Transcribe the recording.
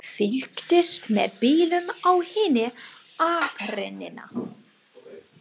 Fylgdist með bílum á hinni akreininni.